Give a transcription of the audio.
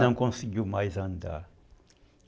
Não conseguiu mais andar.